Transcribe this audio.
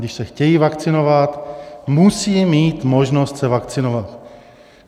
Když se chtějí vakcinovat, musí mít možnost se vakcinovat.